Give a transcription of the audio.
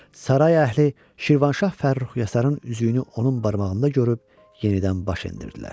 Saray əhli Şirvanşah Fərrux Yasarın üzüyünü onun barmağında görüb, yenidən baş əydirdilər.